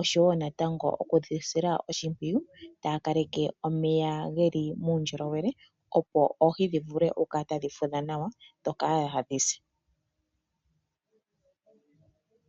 oshowo natango okudhi sila oshimpwiyu taya kaleke omeya geli muundjolowele opo oohi dhikale tadhi fudha nawa dho kaadhise.